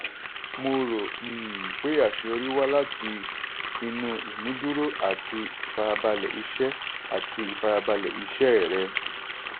mo rò um pé aṣeyọrí wá láti inú ìmúdùró àti ìfarabalẹ̀ iṣẹ́ àti ìfarabalẹ̀ iṣẹ́ rẹ.